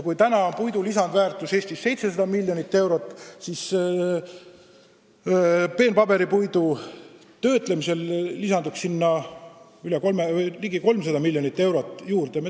Praegu on puidu lisandväärtus Eestis 700 miljonit eurot, peene paberipuidu töötlemisel saaksime ligi 300 miljonit eurot juurde.